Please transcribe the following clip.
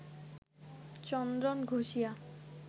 চন্দন ঘষিয়া